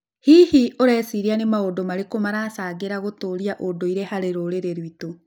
Hihi, ũreciria nĩ maũndũ marĩkũ maracangĩra gũtũũria ũndũire harĩ rũrĩrĩ rwitũ?